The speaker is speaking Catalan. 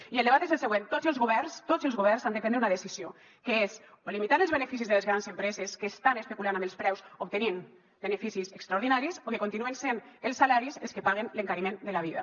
i el debat és el següent tots els governs tots els governs han de prendre una decisió que és o limitar els beneficis de les grans empreses que estan especulant amb els preus obtenint beneficis extraordinaris o bé continuen sent els salaris els que paguen l’encariment de la vida